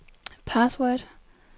password